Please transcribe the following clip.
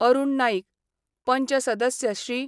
अरूण नाईक, पंच सदस्य श्री.